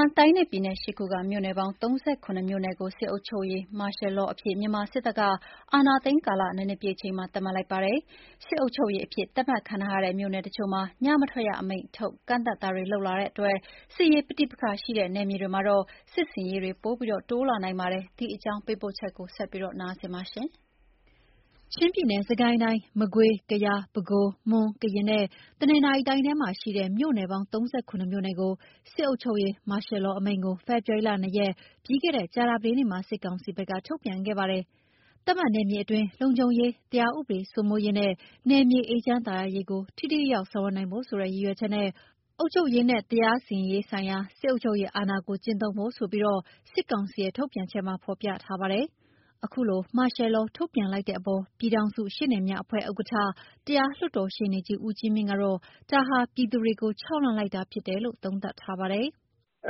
န်းတိုင်းနဲ့ပြည်နယ် ၈ ခုက မြို့ နယ်ပေါင်း ၃၇ မြို့နယ်ကို စစ်အုပ်ချုပ်ရေး Martial Law အဖြစ် မြန်မာစစ်တပ်ကသတ်မှတ်လိုက်ပါတယ်။ စစ်အုပ်ချုပ်ရေးအဖြစ် သတ်မှတ်ခံထားရတဲ့မြို့နယ်တချို့မှာ ညမထွက်ရအမိန့်ထုတ် ကန့်သတ်ချက်ပါရှိတာမို့ စစ်ရေးပဋိပက္ခရှိတဲ့နယ်မြေတွေမှာ စစ်ဆင်ရေးတွေပိုတိုးလာနိုင်ပါတယ်။ ဒီအကြောင်း သတင်းပေးပို့ချက်ကို နန်းလောင်ဝ်က တင်ပြပေးထားပါတယ်။ ချင်း၊ ကယား၊ မွန်နဲ့ ကရင်ပြည်နယ်၊ စစ်ကိုင်း၊ မကွေး၊ ပဲခူးနဲ့ တနင်္သာရီတိုင်းတို့မှာရှိတဲ့ မြို့ နယ်ပေါင်း ၃၇ မြို့နယ်မှာ စစ်အုပ်ချုပ်ရေး (Martial Law) အမိန့်ကို ဖေဖော်ဝါရီလ ၂ ရက်၊ ပြီးခဲ့တဲ့ ကြာသပတေးနေ့မှာ စစ်ကောင်စီဘက်က ထုတ်ပြန်ခဲ့ပါတယ်။ သတ်မှတ်နယ်မြေအတွင်း လုံခြုံရေး၊ တရားဥပဒေစိုးမိုးရေးနဲ့ နယ်မြေအေးချမ်းသာယာရေးကို ထိထိရောက်ရောက် ဆောင်ရွက်နိုင်ဖို့ဆိုတဲ့ရည်ရွယ်ချက်နဲ့ အုပ်ချုပ်ရေးနဲ့ တရားစီရင်ရေးဆိုင်ရာ စစ်အုပ်ချုပ်ရေးအာဏာကို ကျင့်သုံးဖို့ဆိုပြီး စစ်ကောင်စီရဲ့ထုတ်ပြန်ချက်မှာ ဖော်ပြထားပါတယ်။ အခုလို Martial Law ထုတ်ပြန်လိုက်တဲ့အပေါ် ပြည်ထောင်စုရှေ့နေများအဖွဲ့ဥက္ကဋ္ဌ၊ တရားလွှတ်တော် ရှေ့နေကြီး ဦးကြီးမြင့်ကတော့ ဒါက ပြည်သူတွေကို ခြောက်လှန့်လိုက်တာဖြစ်တယ်လို့ သုံးသပ်ထားပါတယ်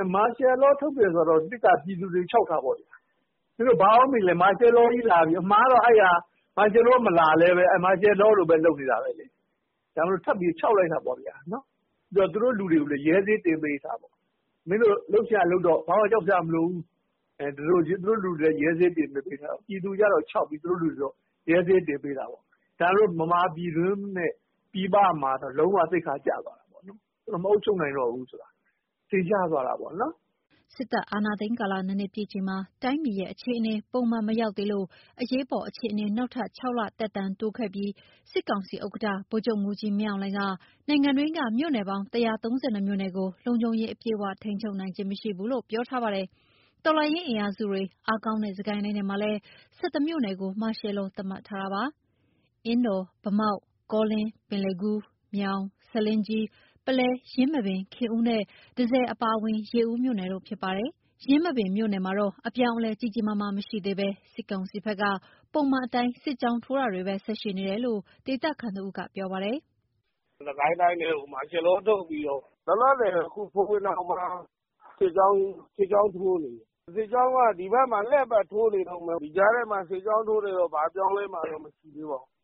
။ "Martial Law ထုတ်တယ်ဆိုတာတော့ အဓိက ပြည်သူတွေကို ခြောက်တာပေါ့ဗျာ။ Martial Law မလာလည်း Martial Law လို လုပ်နေတာပဲလေ။ ဒါပေမဲ့ ထပ်ပြီးတာ့ ခြောက်လိုက်တာပေါ့ဗျာ။ သူတို့လူတွေကိုလည်း ရဲဆေးတင်ပေးလိုက်တာပေါ့။ မင်းတို့လုပ်ချင်တာလုပ်တော့၊ ဘာမှ ကြောက်စရာမလိုဘူး။ ဒီလို ပြည်သူကိုကျ ခြောက်ပြီး သူတို့လူတွေကိုကျ ရဲဆေးတင်ပေးလိုက်တာပေါ့။ ဒါပေမဲ့ ဗမာပြည်တွင်းနဲ့ ပြည်ပမှာတော့ လုံးဝသိက္ခာကျသွားပြီ။ သူတို့ မအုပ်ချုပ်နိုင်ဘူးဆိုတာ ထင်ရှားသွားတာပေါ့။" စစ်တပ်အာဏာသိမ်း ကာလ ၂ နှစ်ပြည့်ချိန်မှာ တိုင်းပြည်ရဲ့အခြေအနေ ပုံမှန်မရောက်သေးလို့ အရေးပေါ်အခြေအနေ နောက်ထပ် ၆ လ သက်တမ်းတိုးခဲ့ပြီး စစ်ကောင်စီဥက္ကဋ္ဌဗိုလ်ချုပ်မှူးကြီး မင်းအောင်လှိုင်က နိုင်ငံတွင်းက မြို့နယ်ပေါင်း ၁၃၂ မြို့နယ်ကို လုံခြုံရေးအပြည့်အဝ ထိန်းချုပ်နိုင်ခြင်းမရှိဘူးလို့ ပြောထားပါတယ်။ တော်လှန်ရေးအင်အားစုတွေအားကောင်းတဲ့ စစ်ကိုင်းတိုင်းထဲမှာလည်း ၁၁ မြို့နယ်ကို Martial Law သတ်မှတ်ထားတာပါ။ အင်းတော်၊ ဗန်းမောက်၊ ကောလင်း၊ ပင်လယ်ဘူး၊ မြောင်၊ ဆားလင်းကြီး၊ ပုလဲ၊ ယင်းမာပင်၊ ခင်ဦးနဲ့တန့်ဆည်အပါအဝင် ရေဦးမြို့နယ်တို့ ဖြစ်ပါတယ်။ ယင်းမာပင် မြို့နယ်မှာတော့ အပြောင်းအလဲ ကြီးကြီးမားမား မရှိသေးဘဲ စစ်ကောင်စီဘက်က ပုံမှန်အတိုင်း စစ်ကြောင်းထိုးတာတွေပဲ ဆက်ရှိနေတယ်လို့ ဒေသခံတဦးက ပြောပါတယ်။ "စစ်ကိုင်းတိုင်းထဲကို Martial Law ထုတ်ပြီးတော့ လောလောဆယ်တော့ အခု ဖိုဝင်တောင်ဘက်မှာ စစ်ကြောင်းထိုးနေတယ်။ စစ်ကြောင်းတွေက ဒီဘက်မှာ လှည့်ပတ်ထိုးနေတုန်းပဲ။ ဒီကြားထဲမှာ စစ်ကြောင်းထိုးနေတော့ Martial Law ထုတ်ထားလည်း ဘာအပြောင်းအလဲမှ မရှိသေးပါဘူး။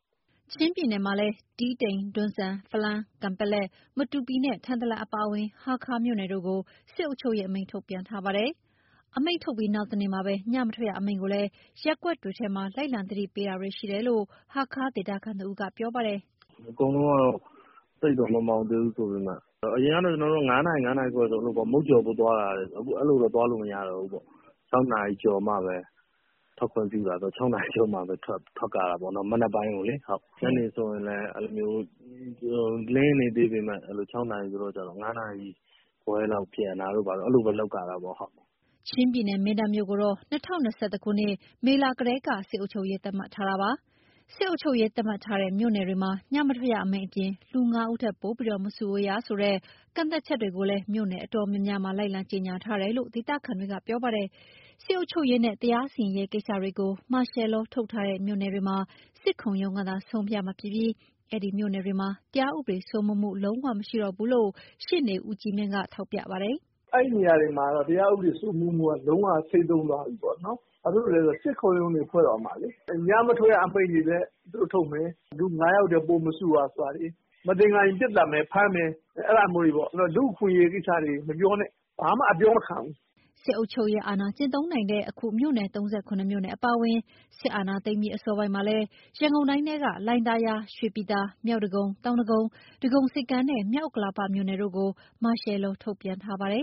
" ချင်းပြည်နယ်မှာလည်း တီးတိန်၊ တွန်းဇံ၊ ဖလမ်း၊ ကန်ပက်လက်၊ မတူပီနဲ့ ထန်တလန်အပါအဝင် ဟားခါးမြို့နယ်တို့ကို စစ်အုပ်ချုပ်ရေး အမိန့်ထုတ်ပြန်ထားပါတယ်။ အမိန့်ထုတ်ပြီး နောက်တနေ့မှာပဲ ညမထွက်ရ အမိန့်ကိုလည်း ရပ်ကွက်တွေထဲမှာ လိုက်လံသတိပေးတာတွေ ရှိတယ်လို့ ဟားခါးဒေသခံတဦးက ပြောပါတယ်။ "အကုန်လုံးကတော့ သိပ်တော့ မမှောင်သေးဘူးဆိုပေမဲ့ အရင်ကဆို ကျနော်တို့ မနက် ၅ နာရီ၊ ၅ နာရီခွဲဆို ဆိုင်ဖွင့်ဖို့သွားတယ်။ အခု အဲလိုမျိုး သွားလို့မရတော့ဘူးပေါ့။ ၆ နာရီကျော်မှပဲ ထွက်ခွင့်ပြုတာဆိုတော့ မနက်ပိုင်းကို ၆ နာရီကျော်မှပဲ ထွက်ရတာပေါ့။ ညနေဆိုရင်လည်း လင်းနေသေးပေမယ့် ၅ နာရီခွဲလောက် ပြန်တာတို့ အဲလိုလုပ်ရတာပေါ့။" ချင်းပြည်နယ်က မင်းတပ်မြို့ကိုတော့ ၂၀၂၁ ခုနှစ်၊ မေလကတည်းက စစ်အုပ်ချုပ်ရေး သတ်မှတ်ထားတာပါ။ စစ်အုပ်ချုပ်ရေး သတ်မှတ်ထားတဲ့ မြို့နယ်တွေမှာ ညမထွက်ရအမိန့်အပြင် လူ ၅ ဦးထက်ပိုပြီး မစုဝေးရဆိုတဲ့ ကန့်သတ်ချက်တွေကိုလည်း မြို့နယ်အတော်များများမှာ လိုက်လံကြေညာထားတယ်လို့ ဒေသခံတွေက ပြောပါတယ်။ စစ်အုပ်ချုပ်ရေးနဲ့ တရားစီရင်ရေးကိစ္စတွေကို Martial Law ထုတ်ထားတဲ့ မြို့နယ်တွေမှာ စစ်ခုံရုံးကသာ ဆုံးဖြတ်မှာဖြစ်ပြီး အဲဒီမြို့နယ်တွေမှာ တရားဥပဒေစိုးမိုးမှု လုံးဝမရှိတော့ဘူးလို့ ရှေ့နေ ဦးကြီးမြင့်က ထောက်ပြပါတယ်။ "အဲဒီ နေရာတွေမှာတော့ တရားဥပဒေစိုးမိုးမှုက လုံးဝဆိတ်သုဉ်းသွားပြီပေါ့နော်။ ဘာဖြစ်လို့လဲ ဆိုတော့ စစ်ခုံရုံးတွေ ဖွဲ့တော့မှာလေ။ ညမထွက်ရအမိန့်တွေလည်း သူတို့ထုတ်မယ်။ လူ ၅ ယောက်ထက် ပိုမစုရဆိုတာတွေ။ မသင်္ကာရင် ပစ်သတ်မယ်၊ ဖမ်းမယ်။ လူ့အခွင့်အရေး ကိစ္စမျိုးတွေ မပြောနဲ့။ ဘာမှ အပြောမခံဘူး။" စစ်အုပ်ချုပ်ရေးအာဏာ ကျင့်သုံးနိုင်တဲ့ အခု မြို့နယ် ၃၇ မြို့နယ်အပါအဝင် စစ်အာဏာသိမ်းပြီး အစောပိုင်းမှာလည်း ရန်ကုန်တိုင်းထဲက လှိုင်သာယာ၊ ရွှေပြည်သာ၊ မြောက်ဒဂုံ၊ တောင်ဒဂုံ၊ ဒဂုံဆိပ်ကမ်း နဲ့ မြောက်ဥက္ကလာပ မြို့နယ်တို့ကို Martial Law ထုတ်ပြန်ထားပါတယ်